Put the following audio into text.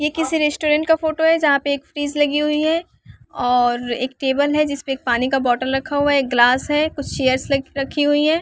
ये किसी रेस्टोरेंट का फोटो है जहाँ पे एक फ्रिज लगी हुई है और एक टेबल है जिस पे एक पानी का बोतल रखा हुआ है एक ग्लास है कुछ चेयर्स लखी रखी हुई हैं।